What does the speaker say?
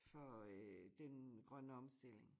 For øh den grønne omstilling